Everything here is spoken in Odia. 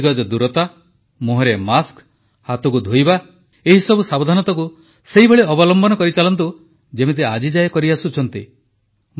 ତେଣୁ ଦୁଇଗଜ ଦୂରତା ମୁହଁରେ ମାସ୍କ ହାତକୁ ଧୋଇବା ଏସବୁ ସାବଧାନତାକୁ ସେହିଭଳି ଅବଲମ୍ବନ କରିଚାଲନ୍ତୁ ଯେମିତି ଆଜିଯାଏ କରିଆସୁଛନ୍ତି